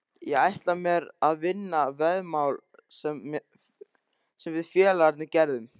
Ég ætla mér að vinna veðmál sem við félagarnir gerðum.